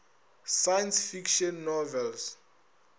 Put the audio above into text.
science fiction novels